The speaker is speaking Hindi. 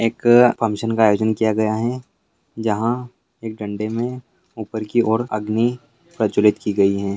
एक फंक्शन का आयोजन किया गया है यहां एक डंडे में ऊपर की ओर अग्नि प्रज्वलित की गई है।